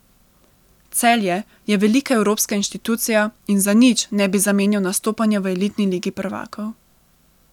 Celje je velika evropska inštitucija in za nič ne bi zamenjal nastopanja v elitni ligi prvakov.